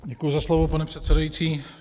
Děkuji za slovo, pane předsedající.